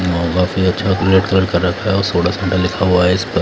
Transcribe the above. काफी अच्छा red colour कर रखा है और सोडा साडा लिखा हुआ है इस पर--